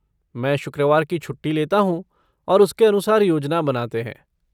मैं शुक्रवार की छुट्टी लेता हूँ और उसके अनुसार योजना बनाते हैं।